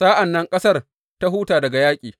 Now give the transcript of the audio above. Sa’an nan ƙasar ta huta daga yaƙi.